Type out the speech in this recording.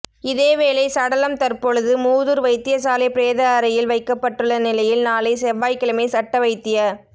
இதேவேளை சடலம் தற்பொழுது மூதூர் வைத்தியசாலை பிரேத அறையில் வைக்கப்பட்டுள்ள நிலையில் நாளை செவ்வாய்க்கிழமை சட்ட வைத்திய